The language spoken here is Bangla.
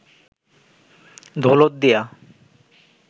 দৌলতদিয়া